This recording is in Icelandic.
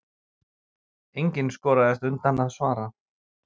Enginn skoraðist undan að svara.